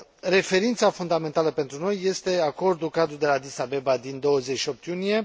Referința fundamentală pentru noi este acordul cadru de la Addis Abeba din 28 iunie.